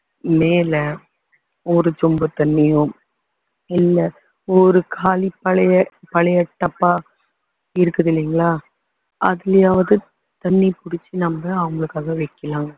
மேல ஒரு சொம்பு தண்ணியும் இல்ல ஒரு காலி பழைய பழைய டப்பா இருக்குது இல்லைங்களா அதுலையாவது தண்ணி புடிச்சி நம்ம அவங்களுக்காக வைக்கலாம்